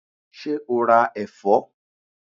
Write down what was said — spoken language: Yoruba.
Ṣé o ra ẹ̀fọ́?